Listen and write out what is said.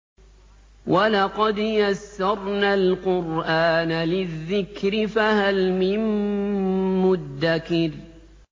وَلَقَدْ يَسَّرْنَا الْقُرْآنَ لِلذِّكْرِ فَهَلْ مِن مُّدَّكِرٍ